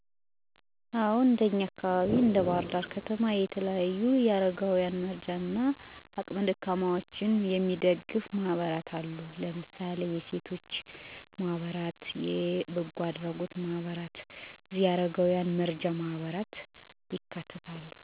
በአገራችን ኢትዮጵያ ብሎም እኔ በምኖርበት በባህር ዳር አካባቢ በርካታ የበጎ አድራጎት ወይም የሴቶች ቡድን ማህበረሰብን ለማገዝ በፈቃደኝነት የተቋቋመ የበጎ አድራጎት ድርጅቶች አሉ። ለምሳሌ :- አባይ የበጎ አድራጎት ድርጅት፣ መቄዶንያ የአረጋውያንና የአዕምሮ ህሙማን መርጃ ማዕከል፣ አንድ ብር የበጎ አድራጎት ማህበር ወ.ዘ.ተ... ናቸው። እነዚህ በበጎ ፈቃደኝነት የተቋቋሙ ድርጅቶች የሚያደርጉት ደጋፍ፣ ጧሪ ቀባሪ የሌላቸውን አረጋውያንን ይደግፋል፣ ጎዳና ላይ የወጡ ህፃናት ያነሳሉ፣ በህመም የሚሰቃዩ እረዳት የሌላቸውን ህሙማን ያሳክማሉ፣ የትምህርት ቁሳቁስ እጥት ላለባቸው ተማሪዎች ድጋፍ ያደርጋሉ። «ሰው ለመርዳት ሰው መሆን በቂነው» ብለው የተነሱ ሌሎችን ከወደቁበት አንስተው የሚያቅፉና የሚደግፉ፤ የሚያጎርሱና የሚያለብሱ ብዙ በጎ አሳቢዎችም ተፈጥረውልናል።